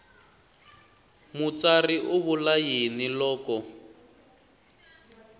mutsari u vula yini loko